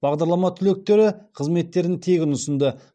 бағдарлама түлектері қызметтерін тегін ұсынды